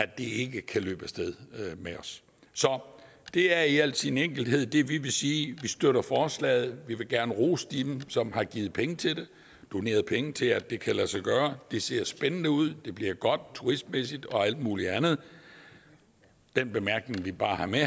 det ikke kan løbe af sted med os det er i al sin enkelhed det vi vil sige vi støtter forslaget vi vil gerne rose dem som har givet penge til det doneret penge til at det kan lade sig gøre det ser spændende ud det bliver godt turistmæssigt og alt muligt andet den bemærkning vi bare har med